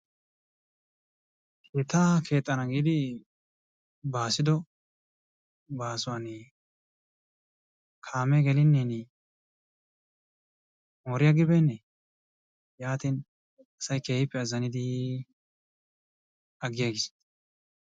Keettaa keexxana giidi baassiddo baasuwan kaamee gelinne moori agi beenne yaatin asay keehippe azzaniddi agiagiis.